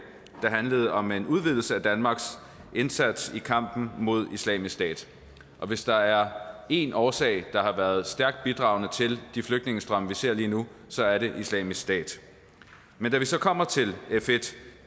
der handler om en udvidelse af danmarks indsats i kampen mod islamisk stat hvis der er én årsag der har været stærkt bidragende til de flygtningestrømme vi ser lige nu så er det islamisk stat men da vi så kom til